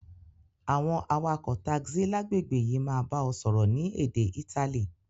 Àwon awakò taxi lágbègbè yi máa ba o sọ́rọ́ ni édé Itali